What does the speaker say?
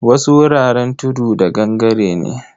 Wasu wuraren tudu da gangare ne.